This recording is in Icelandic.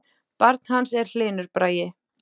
Barn hans er Hlynur Bragi.